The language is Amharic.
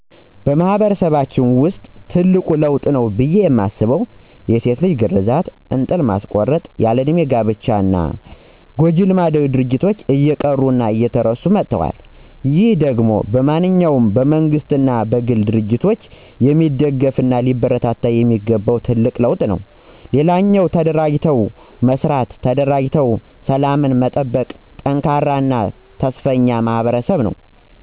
በማህበረሰባችን ውስጥ ትልቅ ለውጥ ነው ብየ ማስበው የሴት ልጅ ግረዛት፣ እንጥል ማስቆረጥ፣ ያለ እድሜ ጋብቻ እና ጎጅ ባህላዊ ድርጊቶች እየቀሩ እና እየተረሱ መጠዋል። ይህ ደሞ በማንኛውም በመንግስትም ሆነ በግል ድርጅት የሚደገፍ እና ሊበረታታ የሚገባው ትልቅ ለውጥ ነው። ሌላኛው ተደራጅተው መስራት፣ ተደራጅተው ሰላምን መጠበቅ፣ ጠንካራ እና ተስፈኛ ማህበረሰብ ነው።